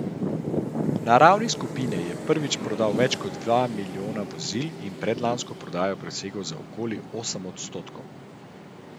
Na ravni skupine je prvič prodal več kot dva milijona vozil in predlansko prodajo presegel za okoli osem odstotkov.